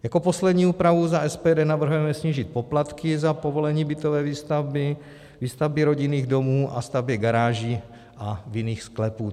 Jako poslední úpravu za SPD navrhujeme snížit poplatky za povolení bytové výstavby, výstavby rodinných domů a staveb garáží a vinných sklepů.